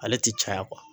Ale ti caya